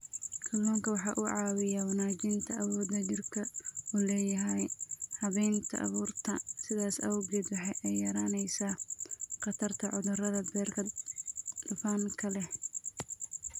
Kalluunku waxa uu caawiyaa wanaajinta awoodda jidhku u leeyahay habaynta baruurta, sidaas awgeed waxa ay yaraynaysaa khatarta cudurrada beerka dufanka leh.